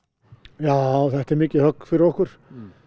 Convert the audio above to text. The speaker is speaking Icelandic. já þetta er mikið högg fyrir okkur